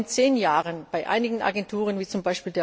Wir haben in zehn Jahren bei einigen Agenturen wie z.